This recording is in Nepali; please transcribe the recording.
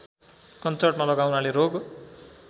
कञ्चटमा लगाउनाले रोग